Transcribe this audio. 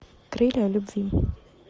крылья любви